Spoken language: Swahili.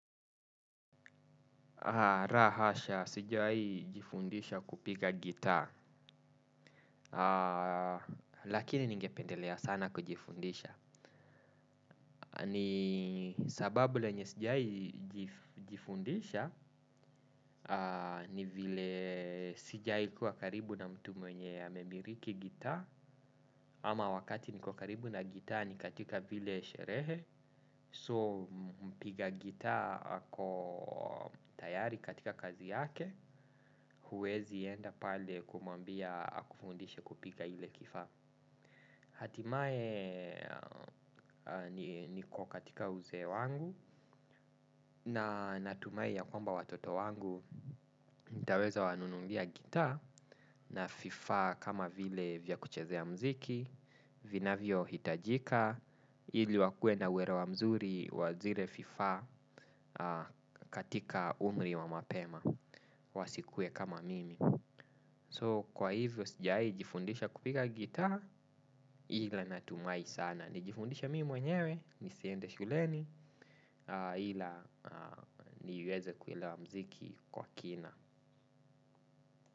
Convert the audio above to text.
Ra hasha sijai jifundisha kupiga gitaa. Lakini ningependelea sana kujifundisha. Ni sababu lenye sijai jifundisha. Ni vile sijai kuwa karibu na mtu mwenye amemiriki gitaa. Ama wakati niko karibu na gitaa ni katika vile sherehe. So mpiga gitaa ako tayari katika kazi yake. Huwezi enda pale kumwambia akufundishe kupiga ile kifa. Hatimae niko katika uzee wangu. Na natumai ya kwamba watoto wangu nitaweza wanunulia gitaa na fifaa kama vile vya kuchezea mziki Vinavyohiitajika Ili wakue na uwerewa mzuri wa zire fifaa katika umri wa mapema. Wasikue kama mimi So kwa hivyo sijai jifundisha kupiga gitaa ila natumai sana nijifundishe mii mwenyewe nisiende shuleni ila niweze kuilewa mziki kwa kina.